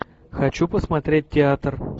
хочу посмотреть театр